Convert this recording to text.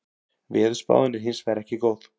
Veðurspáin er hins vegar ekki góð